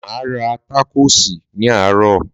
Máa rá tákòsì ni àárọ̀